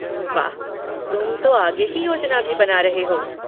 वाह, तुम तो आगे की योजना भी बना रहे हो।